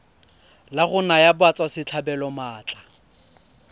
la go naya batswasetlhabelo maatla